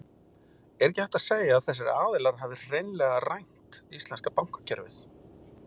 Er ekki hægt að segja að þessir aðilar hafi hreinlega rænt íslenska bankakerfið?